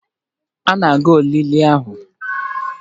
Ị na-aga olili ahụ?